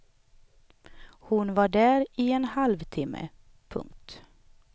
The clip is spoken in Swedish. Hon var där i en halvtimme. punkt